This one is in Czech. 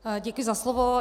Děkuji za slovo.